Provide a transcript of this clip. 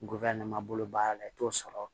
Ngɔyɔ ne ma bolo baara la i t'o sɔrɔ